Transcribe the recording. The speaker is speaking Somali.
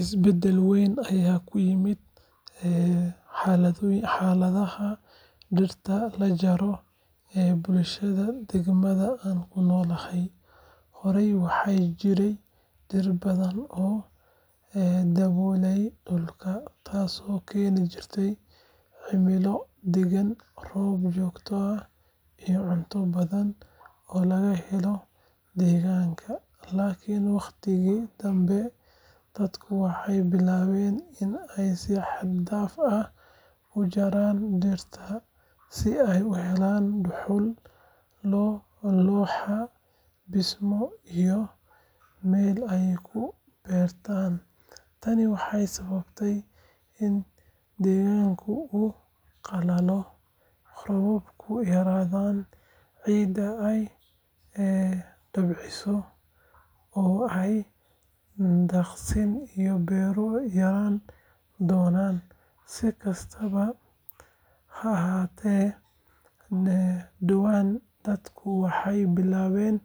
Isbeddel weyn ayaa ku yimid xaaladda dhirta la jaro ee bulshada deegaanka aan ku noolahay. Horey waxaa jiray dhir badan oo daboolaya dhulka, taasoo keeni jirtay cimilo deggan, roob joogto ah iyo cunto badan oo laga helo deegaanka. Laakiin wakhtigii dambe, dadku waxay bilaabeen in ay si xad dhaaf ah u jaraan dhirta si ay u helaan dhuxul, looxa dhismo iyo meel ay ku beertaan. Tani waxay sababtay in deegaanka uu qalalo, roobabku yaraadaan, ciidda ay dabciso oo ay daaqsin iyo beero yaraan doonaan. Si kastaba ha ahaatee, dhowaan dadku waxay bilaabeen